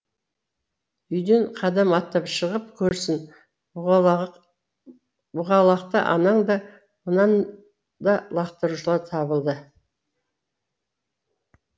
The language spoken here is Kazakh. үйден кадам аттап шығып көрсін бұғалықты анаң да мынан да лақтырушылар табылады